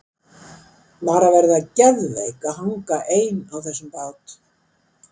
Var að vera geðveik að hanga ein á þessum bát!